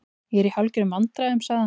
Ég er í hálfgerðum vandræðum- sagði hann.